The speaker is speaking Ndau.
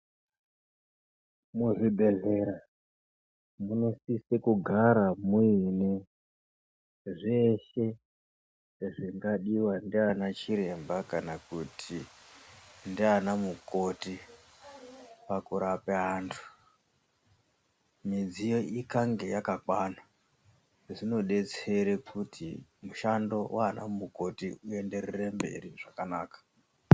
Muzvibhedhlera munosisa kugara muine zveshe zvingadiva ndiana chiremba kana kuti ndiana mukoti pakurapa antu. Midziyo ikange yakakwana zvinobetsere kuti mushando vana mukoti uenderere mberi zvakanaka.